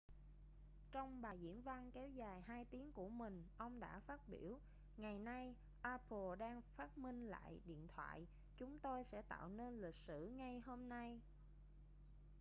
trong bài diễn văn kéo dài 2 tiếng của mình ông đã phát biểu ngày nay apple đang phát minh lại điện thoại chúng tôi sẽ tạo nên lịch sử ngay hôm nay